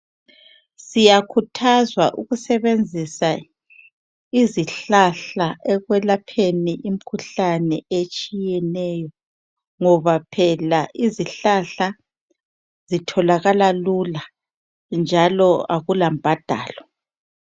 Siyakhuthazwa ukusebenzisa izihlahla ekwelapheni imikhuhlane etshiyeneyo ngoba phela izihlahla zitholakala lula njalo akula mbadalo.